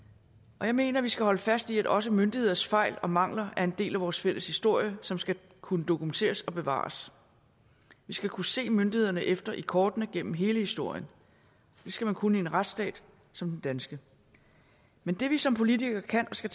jeg mener at vi skal holde fast i at også myndigheders fejl og mangler er en del af vores fælles historie som skal kunne dokumenteres og bevares vi skal kunne se myndighederne efter i kortene gennem hele historien det skal man kunne i en retsstat som den danske men det vi som politikere kan og skal